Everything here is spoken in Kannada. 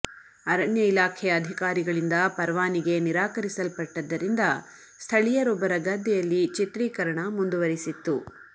ಅರಣ್ಯ ಇಲಾಖೆಯ ಅಧಿಕಾರಿಗಳಿಂದ ಪರವಾನಿಗೆ ನಿರಾಕರಿಸಲ್ಪಟ್ಟದ್ದರಿಂದ ಸ್ಥಳೀಯರೊಬ್ಬರ ಗದ್ದೆಯಲ್ಲಿ ಚಿತ್ರೀಕರಣ ಮುಂದುವರಿಸಿತ್ತು